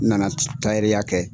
N na na tayɛriya kɛ.